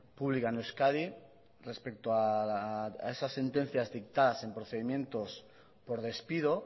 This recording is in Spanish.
ppública en euskadi respeto a esa sentencia dictadas en procedimientos por despido